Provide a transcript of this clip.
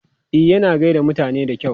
E, yana gai da mutane da kyau.